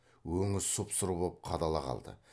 өңі сұп сұр боп қадала қалды